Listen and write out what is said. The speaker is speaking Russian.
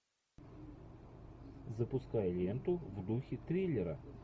запускай ленту в духе триллера